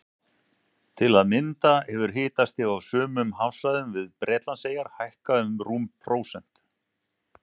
Til að mynda hefur hitastig á sumum hafsvæðum við Bretlandseyjar hækkað um rúmt prósent.